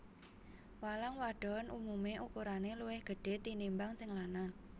Walang wadon umumé ukurané luwih gedhé tinimbang sing lanang